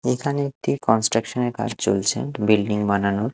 এখানে একটি কনস্ট্রাকশন -এর কাজ চলছে বিল্ডিং বানানোর।